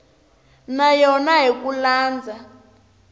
na yona hi ku landza